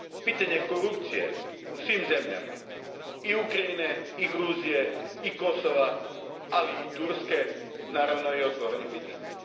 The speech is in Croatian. Pitanje korupcije u svim zemljama, i Ukrajine i Gruzije i Kosova, ali i Turske, otvoreno je pitanje.